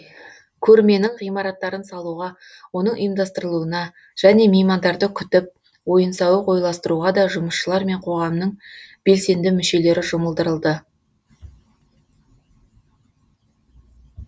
көрменің ғимараттарын салуға оның ұйымдастырылуына және меймандарды күтіп ойын сауық ойластыруға да жұмысшылар мен қоғамның белсенді мүшелері жұмылдырылды